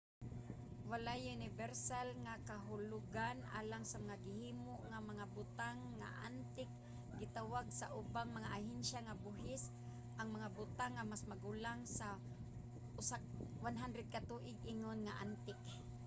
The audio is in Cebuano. walay unibersal nga kahulugan alang sa mga gihimo nga mga butang nga antik. gitawag sa ubang mga ahensya sa buhis ang mga butang nga mas magulang sa 100 ka tuig ingon nga antik